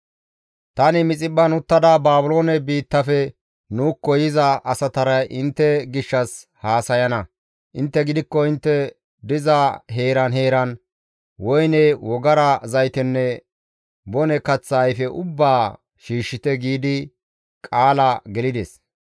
Tani Mixiphphan uttada Baabiloone biittafe nuukko yiza asatara intte gishshas haasayana; intte gidikko intte diza heeran heeran woyne, wogara zaytenne bone kaththa ayfe ubbaa shiishshite» giidi qaala gelides.